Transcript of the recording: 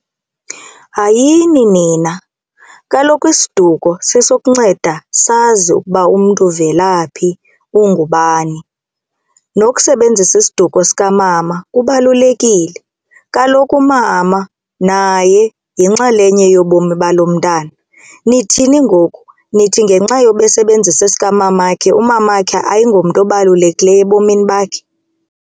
Hayini nina, kaloku isiduko sesokunceda sazi ukuba umntu uvela phi ungubani. Nokusebenzisa isiduko sikamama kubalulekile kaloku umama naye yinxalenye yobomi balo mntwana. Nithini ngoku, nithi ngenxa yoba esebenzisa esikamamakhe umamakhe ayingomntu obalulekileyo ebomini bakhe?